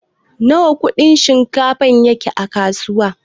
Nawa Kudin shinkafa yake a kasuwa?